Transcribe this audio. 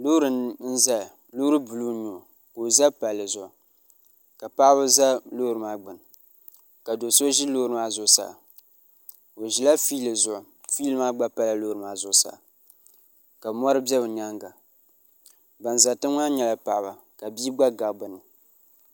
loori n ʒɛya loori buluu n nyɛ o ka o ʒɛ palli zuɣu ka paɣaba ʒɛ loori maa gbuni ka do so ʒi loori maa zuɣusaa o ʒila fiili zuɣu fiili maa gba pala loori maa zuɣusaa ka mori bɛ bi myaanga ban ʒɛ tiŋ maa nyɛla paɣaba ka bia gba gabi bi ni